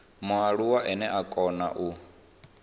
mualuwa ane a kona u